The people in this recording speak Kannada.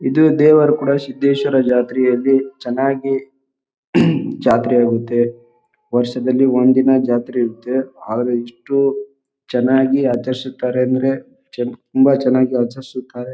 ಇದು ದೇವರ ಕೂಡ ಸಿದ್ದೇಶ್ವರ ಜಾತ್ರೆಯಲ್ಲಿ ಚೆನ್ನಾಗಿ ಜಾತ್ರೆ ಹೋಗುತ್ತೆ ವರ್ಷದಲ್ಲಿ ಒಂದು ದಿನ ಜಾತ್ರೆ ಇರುತ್ತೆ ಆದ್ರೆ ಎಷ್ಟು ಚೆನ್ನಾಗಿ ಆಚರಿಸುತ್ತಾರೆ ಅಂದರೆ ತುಂಬ ಚೆನ್ನಾಗಿ ಆಚರಿಸುತ್ತಾರೆ ಅಂದರೆ ತುಂಬ ಚೆನ್ನಾಗಿ ಆಚರಿಸುತ್ತಾರೆ.